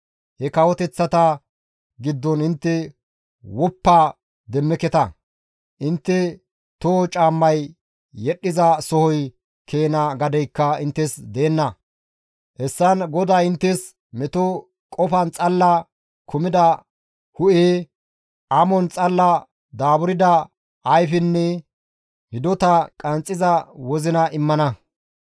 He kawoteththata giddon intte woppa demmeketa; intte toho caammay yedhdhiza soho keena gadeykka inttes deenna; hessan GODAY inttes meto qofan xalla kumida hu7e, amon xalla daaburda ayfenne hidota qanxxiza wozina immana.